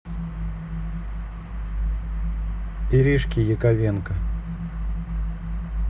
иришки яковенко